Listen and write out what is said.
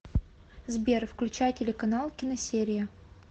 сбер включай телеканал киносерия